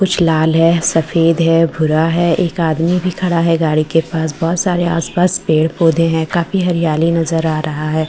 कुछ लाल है सफेद है भुरा है एक आदमी भी खड़ा है गाड़ी के पास बहुत सारे आसपास पेड़ पौधे हैं काफी हरियाली नजर आ रहा है।